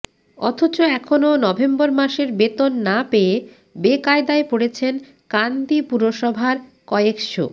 অথচ এখনও নভেম্বর মাসের বেতন না পেয়ে বেকায়দায় পড়েছেন কান্দি পুরসভার কয়েকশো